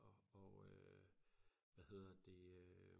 og og øh hvad hedder det øh